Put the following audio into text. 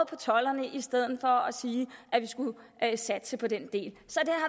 på tolderne i stedet for at sige at vi skulle satse på den del